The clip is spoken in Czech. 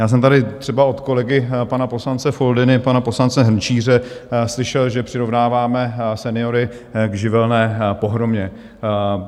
Já jsem tady třeba od kolegy pana poslance Foldyny, pana poslance Hrnčíře slyšel, že přirovnáváme seniory k živelní pohromě.